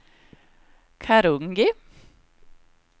Karungi